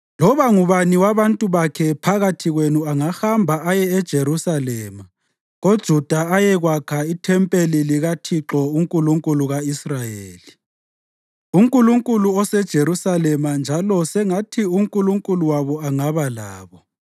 Loba ngubani wabantu bakhe phakathi kwenu angahamba aye eJerusalema koJuda ayekwakha ithempeli likaThixo, uNkulunkulu ka-Israyeli, uNkulunkulu oseJerusalema njalo sengathi uNkulunkulu wabo angaba labo.